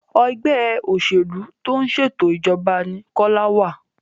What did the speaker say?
Ẹgbẹ́ òṣèlú tó ń ṣètò ìjọba ní Kola wá